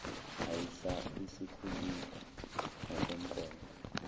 aisa isikhulile ngokomnqondo